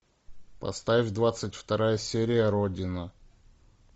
поставь двадцать вторая серия родина